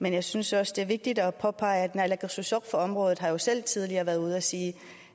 men jeg synes også det er vigtigt at påpege at naalakkersuisut på området jo selv tidligere har været ude at sige